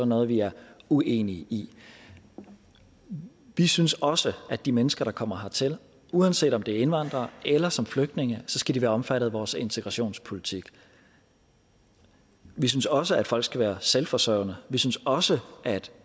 noget vi er uenige i vi synes også at de mennesker der kommer hertil uanset om det er som indvandrere eller som flygtninge skal være omfattet af vores integrationspolitik vi synes også at folk skal være selvforsørgende vi synes også at